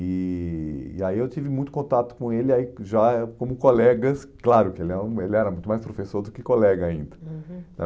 E aí e aí eu tive muito contato com ele, aí já como colegas, claro que ele é ele era muito mais professor do que colega ainda. Uhum